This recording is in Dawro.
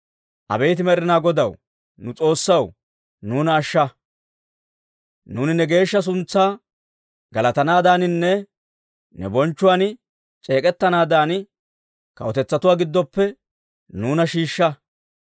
Abeet Med'inaa Godaw, nu S'oossaw, nuuna ashsha. Nuuni ne geeshsha suntsaa galatanaadaaninne ne bonchchuwaan c'eek'ettanaadan, kawutetsatuwaa giddoppe nuuna shiishsha.